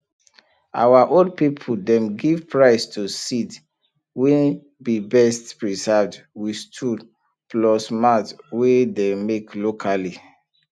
our old people dem give prize to seed wey be best preserved with stool plus mat wey dey make locally